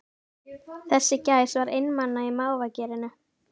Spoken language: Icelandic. Þessi gæs var einmana í mávagerinu